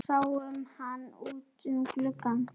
Sáum hann út um glugga.